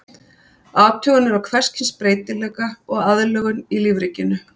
Athuganir á hvers kyns breytileika og aðlögun í lífríkinu.